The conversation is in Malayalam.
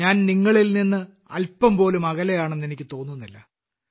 ഞാൻ നിങ്ങളിൽ നിന്ന് അൽപംപോലും അകലെയാണെന്ന് എനിക്ക് തോന്നുന്നില്ല